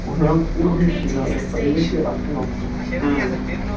у меня у единственного есть в подъезде автономка